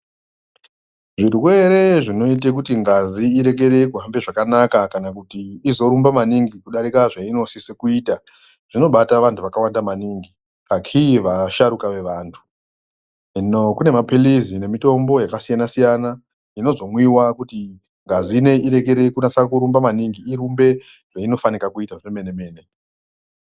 Zvirwere zvinoite kuti ngazi irikere kuhambe zvakanaka kana kuti izorumba maningi kudarika zvainosisa kuita zvinobata vantu vakawanda maningi akhii vasharukwa vevantu. Hino kune maphilizi nemitombo yakasiyana -siyana inozomwiwa kuti ngazi ineyi irekere kunasa kurumba maningi irumbe zvainofanika kuita zvemene-mene.